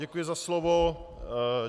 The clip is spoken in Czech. Děkuji za slovo.